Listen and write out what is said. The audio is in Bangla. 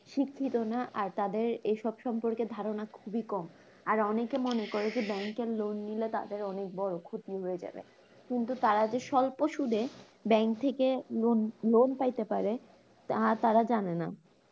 শিক্ষিত না আর তাদের এইসব সম্পর্কে ধারণা খুবই কম, আরো অনেকে মনে করে যে bank এর লোন নিলে তাদের অনেক বড় ক্ষতি হয়ে যাবে, কিন্তু তারা যে স্বল্প সুধে bank থেকে লোন লোন পাইতে পারে তা তারা জানে না